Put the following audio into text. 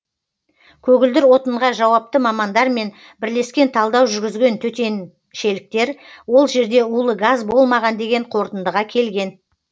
көгілдір отынға жауапты мамандармен бірлескен талдау жүргізген төтеншеліктер ол жерде улы газ болмаған деген қорытындыға келген